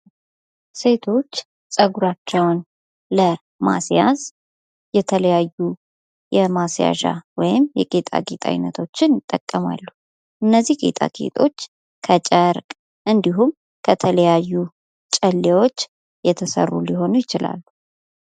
ሴቶች ፀጉራቸውን ለማስያዝ የተለያዩ የማስያዣ ወይም የጌጣጌጥ ዐይነቶችን ይጠቀማሉ ጌጣጌጦች ከጨረቅ እንዲሁም ከተለያዩ ጨሌዎች የተሰሩ ሊሆኑ ይችላሉ።